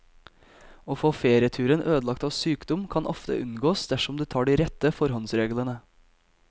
Å få ferieturen ødelagt av sykdom kan ofte unngås dersom du tar de rette forhåndsreglene.